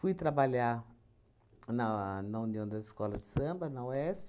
Fui trabalhar na na União das Escolas de Samba, na UESP.